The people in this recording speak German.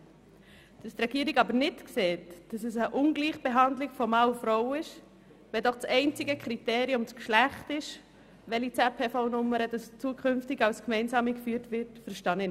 Hingegen ist mir unverständlich, dass die Regierung nicht sieht, dass es eine Ungleichbehandlung von Mann und Frau ist, wenn das Geschlecht das einzige Kriterium für die Wahl der ZPV-Nummer ist, die zukünftig den Zugriff auf das gemeinsame Steuerdossier erlaubt.